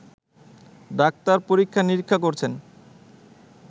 doctor পরীক্ষা-নিরীক্ষা করছেন